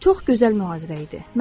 Çox gözəl mühazirə idi.